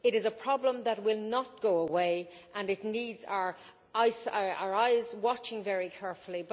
It is a problem that will not go away, and it needs our eyes watching very carefully.